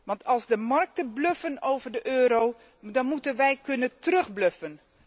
Want als de markten bluffen over de euro, dan moeten wij kunnen terugbluffen.